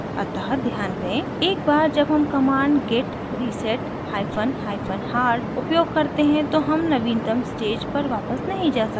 अतः ध्यान दें एक बार जब हम command git reset hyphen hyphen hard उपयोग करते हैं तो हम नवीनतम stage पर वापस नहीं जा सकते